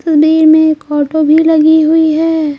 तस्वीर में एक ऑटो भी लगी हुई है।